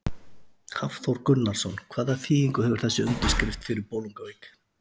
Hafþór Gunnarsson: Hvaða þýðingu hefur þessi undirskrift fyrir Bolungarvík?